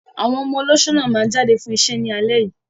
Àwọn ọmọ olóṣó náà máa jáde fún iṣẹ́ ní alẹ́ yìí.